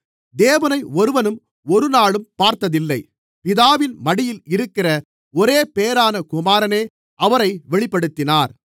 தேவனை ஒருவனும் ஒருநாளும் பார்த்ததில்லை பிதாவின் மடியில் இருக்கிற ஒரேபேறான குமாரனே அவரை வெளிப்படுத்தினார்